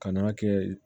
Kan'a kɛ